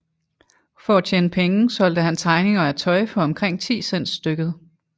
For at tjene penge solgte han tegninger af tøj for omkring 10 cents stykket